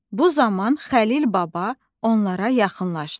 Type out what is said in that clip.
Bu zaman Xəlil baba onlara yaxınlaşdı.